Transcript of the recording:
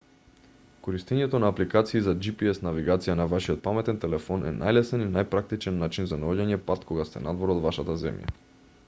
користењето на апликации за gps навигација на вашиот паметен телефон е најлесен и најпрактичен начин за наоѓање пат кога сте надвор од вашата земја